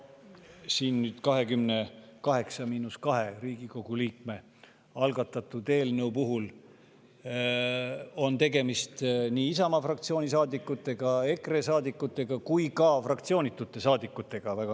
Selle 28 miinus 2 Riigikogu liikme algatatud eelnõu puhul on tegemist nii Isamaa fraktsiooni saadikutega, EKRE saadikutega kui ka väga mitme fraktsioonitu saadikuga.